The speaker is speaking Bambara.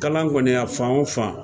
Kalan kɔni a fan o fan